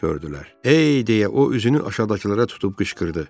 Ey, deyə o üzünü aşağıdakılara tutub qışqırdı.